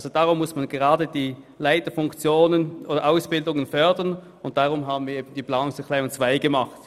Gerade deshalb muss man die Leiterausbildung fördern, und deshalb haben wir den Abänderungsantrag 2 eingereicht.